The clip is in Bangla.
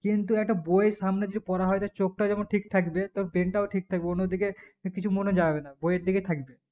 কিন্তু একটা বই সামনে যদি পড়া হয় তার চোখটা যেমন ঠিক থাকবে তার brain তও ঠিক থাকবে অন্য দিকে কিছু মনে যাবে না বইএর দিকে থাকবে